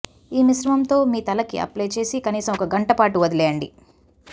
ఈ మిశ్రమంతో మీ తల కి అప్లై చేసి కనీసం ఒక గంట పాటు వదిలివేయండి